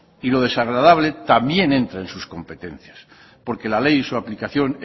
y lo desagradable también entra en sus competencias porque la ley y su aplicación